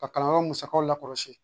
Ka kalanyɔrɔ musakaw la kɔlɔsi